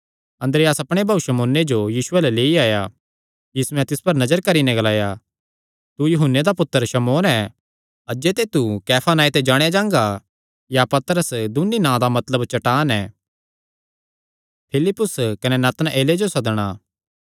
अन्द्रियास अपणे भाऊ शमौने जो यीशु अल्ल लेई आया यीशुयैं तिस पर नजर करी नैं ग्लाया तू यूहन्ने दा पुत्तर शमौन ऐ अज्जे तू कैफा नांऐ ते जाणेया जांगा या पतरस दून्नी नां दा मतलब चट्टान ऐ